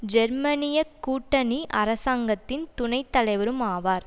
ஜேர்மனியக் கூட்டணி அரசாங்கத்தின் துணை தலைவரும் ஆவார்